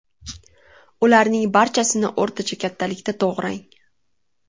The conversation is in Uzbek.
Ularning barchasini o‘rtacha kattalikda to‘g‘rang.